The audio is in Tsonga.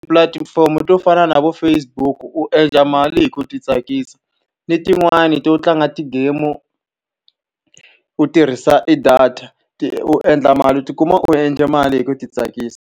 Pulatifomo to fana na vo Facebook-u endla mali hi ku ti tsakisa, ni tin'wani to tlanga ti-game-u u tirhisa e data. u endla mali u ti kuma u endle mali hi ku ti tsakisa.